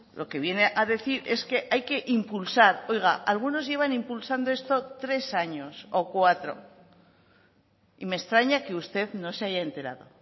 lo que viene a decir es que hay que impulsar oiga algunos llevan impulsando esto tres años o cuatro y me extraña que usted no se haya enterado